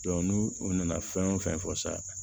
n'u u nana fɛn o fɛn fɔ sisan